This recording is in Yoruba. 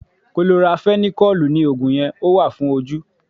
Kolorafenikọ́lùù ni Ògùn yẹn, ó wà fún ojú.